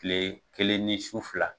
Tile kelen ni su fila.